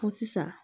Ko sisan